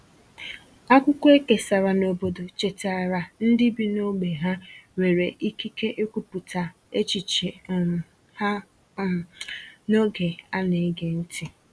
Akwụkwọ e kesàrà n’obodo chetaara ndị bi n’ógbè ha nwere ikike ikwupụta echiche um ha um n’oge a na-ege ntị.